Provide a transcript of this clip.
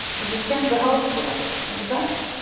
Ég get kennt við háskólann, ekki satt?